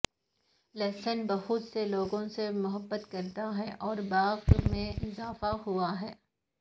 لہسن بہت سے لوگوں سے محبت کرتا ہے اور باغ میں اضافہ ہوا ہے